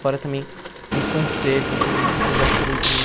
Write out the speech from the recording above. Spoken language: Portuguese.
Fora também muito concerto, assim, que eu já fui também.